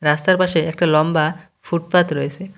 রাস্তার পাশে একটা লম্বা ফুটপাত রয়েসে।